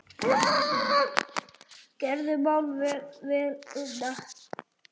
Gerður má vel við una.